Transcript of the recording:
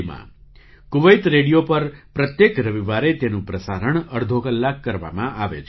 'Kuwait radio' પર પ્રત્યેક રવિવારે તેનું પ્રસારણ અડધો કલાક કરવામાં આવે છે